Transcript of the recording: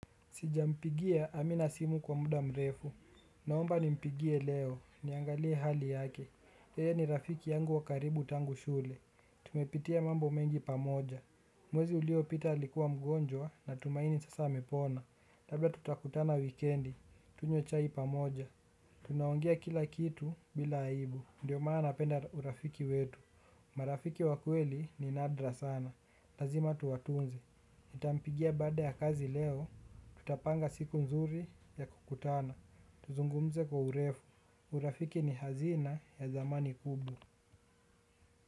Sija mpigia amina simu kwa muda mrefu. Naomba nimpigie leo. Niangalie hali yake. Yeye ni rafiki yangu wakaribu tangu shule. Tumepitia mambo mengi pamoja. Mwezi uliopita likuwa mgonjwa natumaini sasa amepona. Labda tutakutana wikendi tunywe chai pamoja. Tunaongea kila kitu bila aibu. Ndiyo maana napenda urafiki wetu. Marafiki wa kweli ni nadra sana. Lazima tuwatunze. Nitampigia baada ya kazi leo. Tutapanga siku nzuri ya kukutana. Tuzungumze kwa urefu. Urafiki ni hazina ya zamani kubwa.